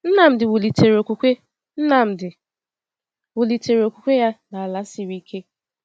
Nnamdi wulitere okwukwe Nnamdi wulitere okwukwe ya n’ala siri ike.